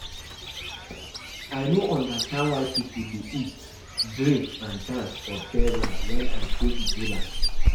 I no understand why people dey eat, drink and dance for burial wen I go Igbo land